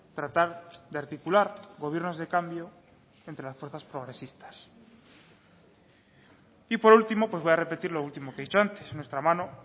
tratar de articular gobiernos de cambio entre las fuerzas progresistas y por último pues voy a repetir lo último que he dicho antes nuestra mano